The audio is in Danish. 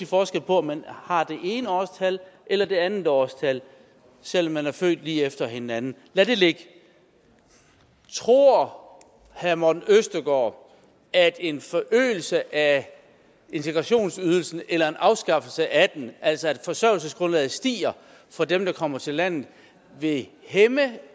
forskel på om man har det ene årstal eller det andet årstal selv om man er født lige efter hinanden lad det ligge tror herre morten østergaard at en forøgelse af integrationsydelsen eller en afskaffelse af den altså at forsørgelsesgrundlaget stiger for dem der kommer til landet vil hæmme